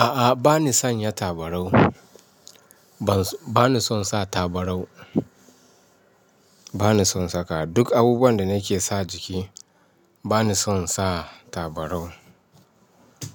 A'a, ba ni sanya tabarau. Ba ba ni son sa tabarau. Ba ni son saka. Duk abubuwan da nake sa jiki, ba ni son sa tabarau.